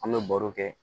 An bɛ baro kɛ